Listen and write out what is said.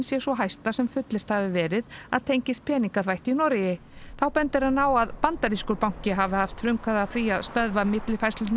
sé sú hæsta sem fullyrt hafi verið að tengist peningaþvætti í Noregi þá bendir hann á að bandarískur banki hafi haft frumkvæði að því að stöðva millifærslurnar